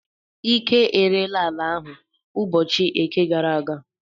Ike ereela ala ahụ ụbọchị Eke gara aga.